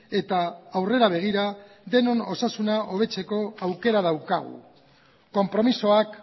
eta aurrera begira denon osasuna hobetzeko aukera daukagu konpromisoak